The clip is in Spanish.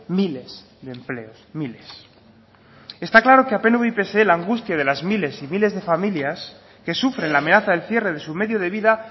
miles de empleos miles está claro que a pnv y pse la angustia de las miles y miles de familias que sufren la amenaza del cierre de su medio de vida